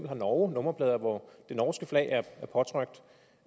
har norge nummerplader hvor det norske flag